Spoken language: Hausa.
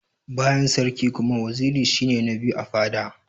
Bayan sarki kuma, waziri shi ne na biyu a fada.